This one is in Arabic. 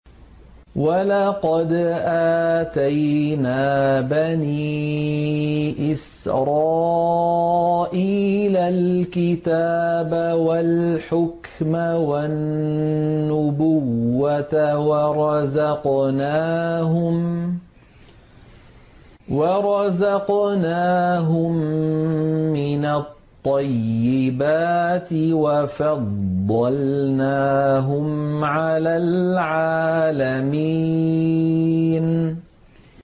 وَلَقَدْ آتَيْنَا بَنِي إِسْرَائِيلَ الْكِتَابَ وَالْحُكْمَ وَالنُّبُوَّةَ وَرَزَقْنَاهُم مِّنَ الطَّيِّبَاتِ وَفَضَّلْنَاهُمْ عَلَى الْعَالَمِينَ